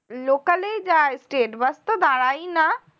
local এই যাই state bus তো দাঁড়ায়ই না